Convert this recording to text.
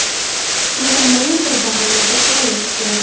Ular ma’lum bir davrlarda faollashib turadi.